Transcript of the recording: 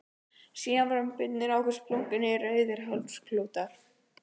Síðan voru bundnir á okkur splunkunýir rauðir hálsklútar.